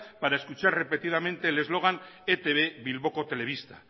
para escuchar repetidamente el slogan etb bilboko telebista